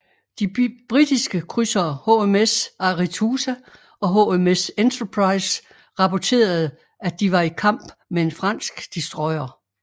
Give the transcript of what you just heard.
De britiske krydsere HMS Arethusa og HMS Enterprise rapporterede at de var i kamp med en fransk destroyer